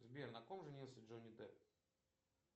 сбер на ком женился джонни депп